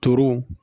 Turun